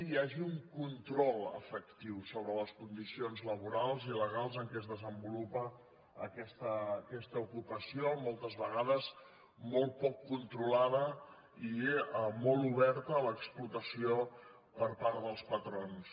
hi hagi un control efectiu sobre les condicions laborals i legals en què es desenvolupa aquesta ocupació moltes vegades molt poc controlada i molt oberta a l’explotació per part dels patrons